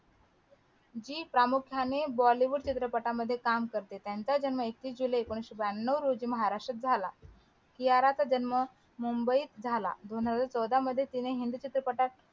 जी प्रामुख्याने बॉलीवूड चित्रपटामध्ये काम करते त्यांचं जन्म एकतीस जुलै एकोणविशे ब्यांनव रोजी महाराष्ट्रात झाला कियारा चा जन्म मुंबईत झाला दोन हजार चौदा मध्ये तिने हिंदी चित्रपटांत